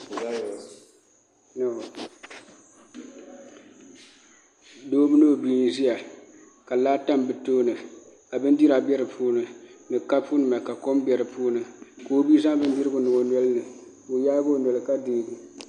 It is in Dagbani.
Doo mini o bia n ʒiya ka laa tam bi tooni ka bindira bɛ di puuni ni kapu nima ka kom bɛ di puuni ka o bia zaŋ bindirigu n niŋ o nolini ka o yaagi o noli ka deegi